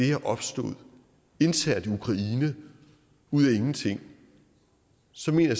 er opstået internt i ukraine ud af ingenting så mener